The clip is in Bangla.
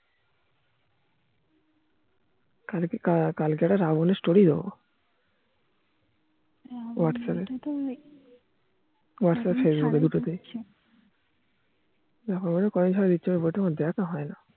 কেনোকি কালকের রাবনের story ও whatsapp এ whatsapp facebook কোনো সময় আমার দেখা হয় না